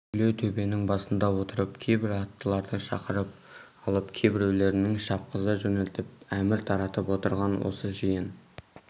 кішілеу төбенің басында отырып кейбір аттыларды шақырып алып кейбіреулерін шапқыза жөнелтіп әмір таратып отырған осы жиын